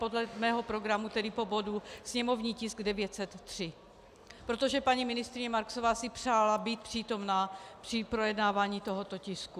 Podle mého programu tedy po bodu sněmovní tisk 903, protože paní ministryně Marksová si přála být přítomna při projednávání tohoto tisku.